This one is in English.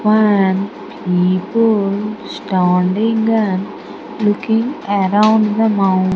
One people standing and looking around the moun --